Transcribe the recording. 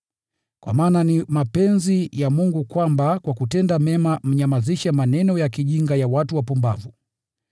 Kwa maana ni mapenzi ya Mungu kwamba kwa kutenda mema mnyamazishe maneno ya kijinga ya watu wapumbavu.